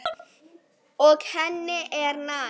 Og henni er nær.